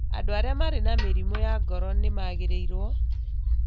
Andũ arĩa marĩ na mĩrimũ ya ngoro nĩ magĩrĩirũo